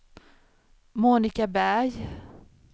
Monika Berg